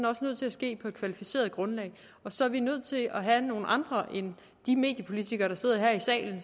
også nødt til at ske på et kvalificeret grundlag og så er vi nødt til at have nogle andre end de mediepolitikere der sidder her i salen